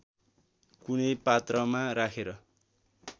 कुनै पात्रमा राखेर